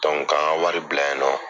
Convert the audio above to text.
Dɔnku k'an ka wari bila yen nɔ.